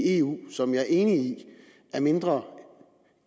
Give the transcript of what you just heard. eu som jeg er enig i er mindre